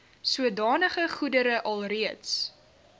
sodanige goedere alreeds